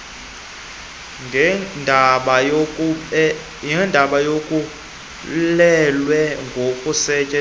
ngendaba yobulwelwe bukazenzile